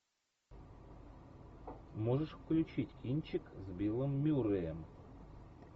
можешь включить кинчик с биллом мюрреем